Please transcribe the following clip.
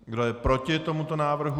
Kdo je proti tomuto návrhu?